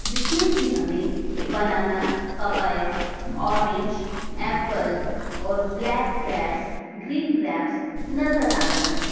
जिसमें कि हमें बनाना पपाया औरेंज एप्पल और ब्लैक ग्रैप्स ग्रीन ग्रैप्स नज़र आ रहे हैं।